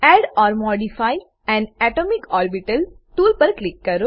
add or modify an atomic orbital tool પર click કરો